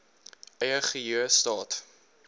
eie geheue staat